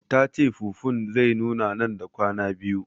Tace fufun zai nuna nan da kwana biyu